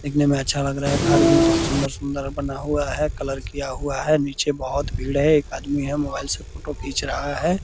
दिखने में अच्छा लग रहा है घर भी बहुत सुंदर-सुंदर बना हुआ है कलर किया हुआ है नीचे बहुत भीड़ है एक आदमी है मोबाइल से फोटो खींच रहा है ।